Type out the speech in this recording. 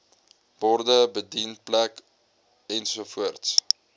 borde bedienplek ensovoorts